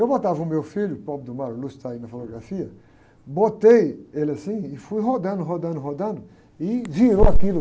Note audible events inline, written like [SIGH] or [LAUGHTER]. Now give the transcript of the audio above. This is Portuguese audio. Eu botava o meu filho, o pobre do, [UNINTELLIGIBLE] que está aí na fotografia, botei ele assim e fui rodando, rodando, rodando, e virou aquilo.